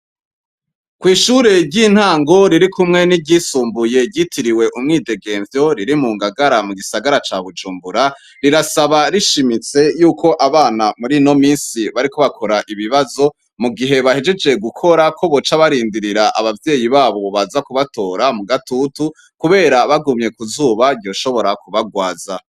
Kw'ishure ry'intango ririkumwe n'iry'isumbuye ryitiriwe umwidegemvyo riri mu ngagara mu gisagara ca Bujumbura rirasaba rishimitse yuko abana murino minsi bariko bakora ibibazo mu gihe bahejeje gukora kobaca barindirira abavyeyi babo baza kubatora mugatutu kubera bagumye kuzoba ryoshobora kubagwaza.